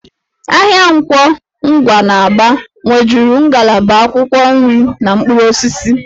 Ahịa Nkwọ Ngwa n'Aba nwejuru ngalaba akwụkwọ nri na mkpụrụ osisi